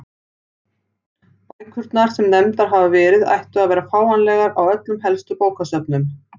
Bækurnar sem nefndar hafa verið ættu að vera fáanlegar á öllum helstu bókasöfnum.